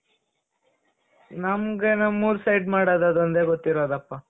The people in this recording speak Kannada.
ನಮ್ಗೆ ನಮ್ ಊರ್ side ಮಾಡೋದು ಅದು ಒಂದೇ ಗೊತ್ತಿರೋದಪ .